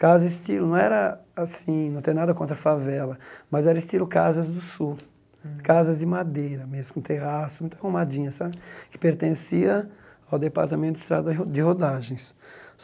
Casa estilo não era assim, não tem nada contra favela, mas era estilo casas do sul, Hum casas de madeira mesmo, com terraço, muito arrumadinha sabe, que pertencia ao departamento de estrada de rodagens.